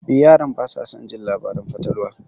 Eh, yaran basa son jin labaran fatalwa.